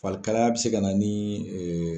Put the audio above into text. Farikalaya bɛ se ka na ni